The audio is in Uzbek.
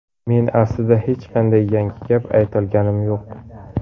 Men aslida hech qanday yangi gap aytayotganim yo‘q.